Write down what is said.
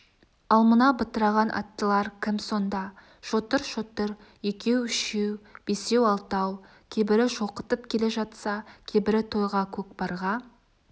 ал мына бытыраған аттылар кім сонда шотыр-шотыр екеу-үшеу бесеу-алтау кейбірі шоқытып келе жатса кейбірі тойға көкпарға